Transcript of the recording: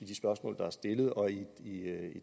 de spørgsmål der er stillet og i